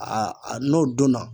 Aa a n'o donna